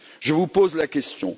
Je vous pose la question.